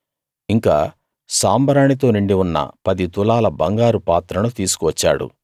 ఇంకా సాంబ్రాణి తో నిండి ఉన్న పది తులాల బంగారు పాత్రను తీసుకువచ్చాడు